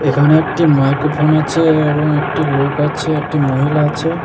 এখানে একটি মাইক্রোফোন আছে এবং একটি লোক আছে একটি মহিলা আছে।